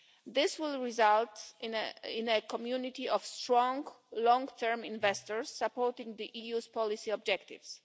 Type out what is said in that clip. This will result in a community of strong, long term investors supporting the EU's policy objectives.